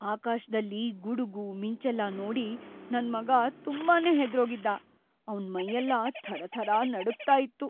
ಆಕಾಶ್ದಲ್ಲಿ ಗುಡ್ಗು, ಮಿಂಚೆಲ್ಲ ನೋಡಿ ನನ್‌ ಮಗ ತುಂಬಾನೇ ಹೆದ್ರೋಗಿದ್ದ, ಅವ್ನ್‌ ಮೈಯೆಲ್ಲ ಥರಥರ ನಡುಗ್ತಾ ಇತ್ತು.